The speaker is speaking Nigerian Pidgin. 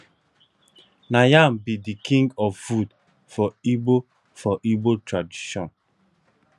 na yam be de king of food for igbo for igbo tradition